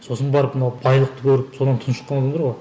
сосын барып мынау байлықты көріп содан тұншыққан адамдар ғой